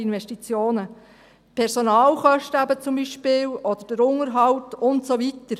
die Personalkosten zum Beispiel oder der Unterhalt und so weiter.